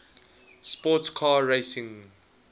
sports car racing